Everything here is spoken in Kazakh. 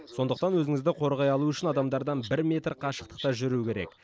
сондықтан өзіңізді қорғай алу үшін адамдардан бір метр қашықтықта жүру керек